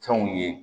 Fɛnw ye